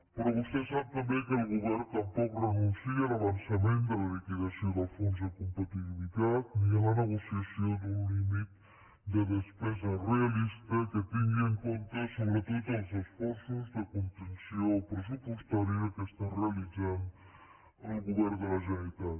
però vostè sap també que el govern tampoc renuncia a l’avançament de la liquidació del fons de competitivitat ni a la negociació d’un límit de despesa realista que tingui en compte sobretot els esforços de contenció pressupostària que està realitzant el govern de la generalitat